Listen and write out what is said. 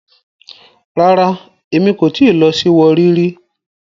Rara, Emi ko ti lọ si Warri ri